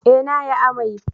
Eh na yi amai